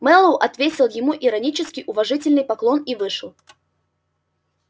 мэллоу ответил ему иронический уважительный поклон и вышел